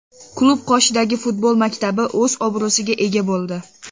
Klub qoshidagi futbol maktabi o‘z obro‘siga ega bo‘ldi.